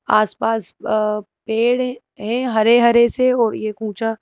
आस-पास अ पेड़ हैं हरे-हरे से और यह कूंचा।